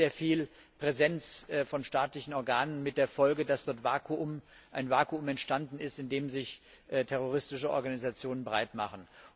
Da ist nicht sehr viel Präsenz von staatlichen Organen, mit der Folge, dass dort ein Vakuum entstanden ist, in dem sich terroristische Organisationen breit machen.